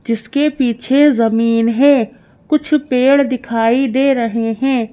जिसके पीछे जमीन है कुछ पेड़ दिखाई दे रहे हैं।